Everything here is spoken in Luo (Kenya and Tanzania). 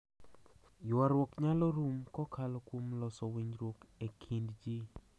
Ywaruok nyalo rum kokalo kuom loso winjruok e kind ji.